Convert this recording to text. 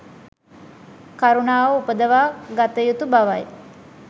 කරුණාව උපදවා ගත යුතු බවයි.